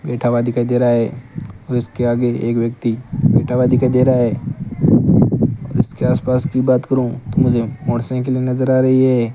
बैठा हुआ दिखाई दे रहा है उसके आगे एक व्यक्ति बैठा हुआ दिखाई दे रहा है और उसके आसपास की बात करूं तो मुझे मोटरसाइकिले नजर आ रही है।